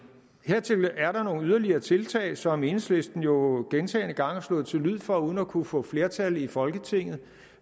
yderligere tiltag som enhedslisten jo gentagne gange har slået til lyd for uden at kunne få flertal i folketinget